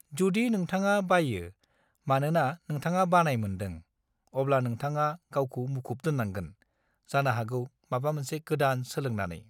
जुदि नोंथाङा बाययो मानोना नोंथाङा बानाय मोन्दों, अब्ला नोंथाङा गावखौ मुखुब दोन्नांगोन, जानो हागौ माबा मोनसे गोदान सोलोंनानै।